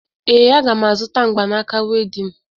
Ee, aga m azụta mgbanaaka wedịn